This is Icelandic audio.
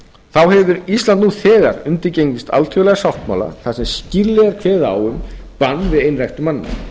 þá hefur ísland nú þegar undirgengist alþjóðlega sáttmála þar sem skýrlega er kveðið á um bann við einræktun manna